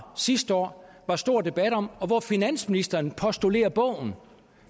sidste år var stor debat om og hvor finansministeren postulerer bogen